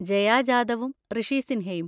ജയ ജാദവും ഋഷി സിൻഹയും.